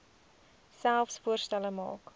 selfs voorstelle maak